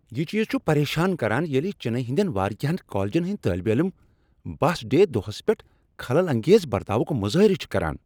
یِہ چیز چھ پرٮ۪شان کران ییٚلہِ چنئی ہٕندین واریاہن کالجن ہنٛدۍ طٲلبہِ علم بس ڈے دۄہہس پیٹھ خلل انگیز برتاوُک مظٲہرٕ چھ کران ۔